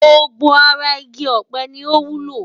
Gbogbo ara igi ọ̀pẹ ni ó wúlò.